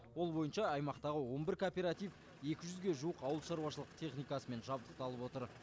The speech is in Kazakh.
ол бойынша аймақтағы он бір кооператив екі жүзге жуық ауылшаруашылық техникасымен жабдықталып отыр